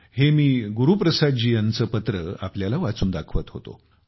हे मी गुरुप्रसाद जी यांचे पत्र आपल्याला वाचून दाखवत होतो